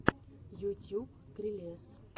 ютюб крелез